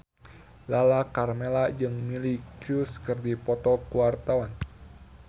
Lala Karmela jeung Miley Cyrus keur dipoto ku wartawan